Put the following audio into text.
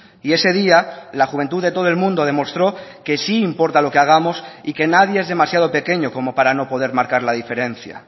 y ese día la juventud de todo el mundo demostró que sí importa lo que hagamos y que nadie es demasiado pequeño como para no poder marcar la diferencia